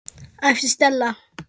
æpti Stella.